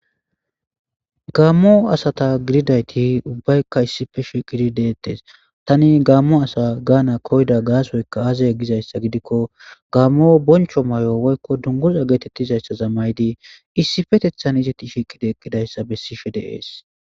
Gaammo asata gididayti ubbaykka issife sheqidi deettes tani gaammo asa gaana koyda gaasoyka aazay gizayssa gidikko gaammo boncho may7o woykko dunguza geetettizayssa zammaydi issifetethan izeti shekidi ekidayssa bessishe deees